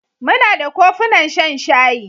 Muna da kofunan shan shayi.